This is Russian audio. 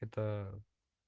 это